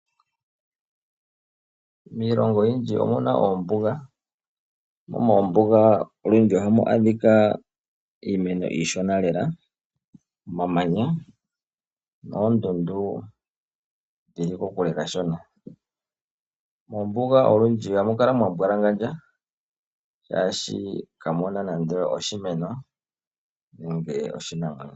Miilongo oyindji omuna oombuga. Momombuga olundji ohamu adhika iimeno iishona lela omamanya noondundu dhili kokule kashona. Mombuga olundji ohamu kala mwambwalangandja shaashi kamuna nande oshimeno nenge oshinamwenyo.